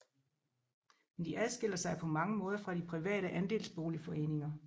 Men de adskiller sig på mange måder fra de private andelsboligforeninger